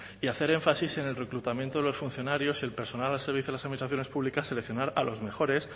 y hacer énfasis en el reclutamiento de los funcionarios y el personal al servicio de las actuaciones públicas seleccionar a los mejores